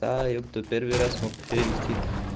да епта первый раз мог перевести